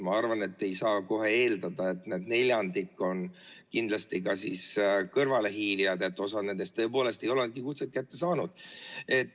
Ma arvan, et ei saa kohe eeldada, et need on kindlasti ka kõrvalehiilijad, osa nendest tõepoolest ei olegi kutset kätte saanud.